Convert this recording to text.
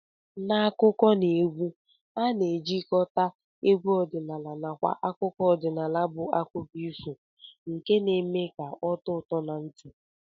N'akụkọneegwu a na-ejikọta egwu ọdịnala nakwa akụkọ ọdịnala bụ akụkọ ifo nke na-eme ka ọ tọọ ụtọ na ntị